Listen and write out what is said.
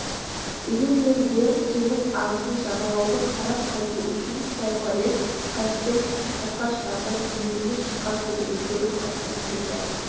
дегенмен де теңіз ағысын жағалауды қарап қайту үшін соңғы рет қайықпен саяхатқа шығарда биігіне шыққан төбені көріп қайтқым келді